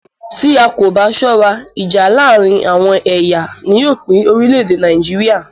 Tí a kò bá ṣọ́rá, ìjà láàárín àwọn ẹ̀yà ni yóò pín orílẹ̀-èdè Nàìjíríà.